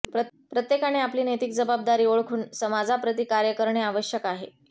प्रत्येकाने आपली नैतिक जबाबदारी ओळखून समाजाप्रती कार्य करणे आवश्यक आहे